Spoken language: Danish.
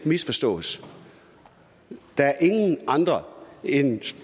misforstås der er ingen andre end